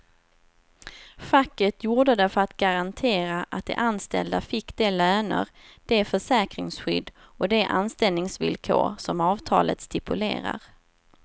Facket gjorde det för att garantera att de anställda fick de löner, det försäkringsskydd och de anställningsvillkor som avtalet stipulerar.